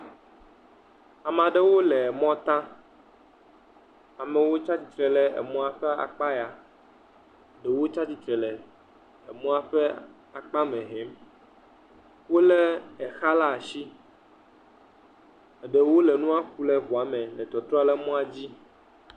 Ameaɖewo le mɔ ta, amewo tsatsitre le emɔa ƒe akpa ya, ɖewo tsatsitre le emɔa ƒe akpa mɛ hɛm, wole exa le asi, eɖewo le nua ku le ʋuame le tɔtrɔ le mɔa dzi.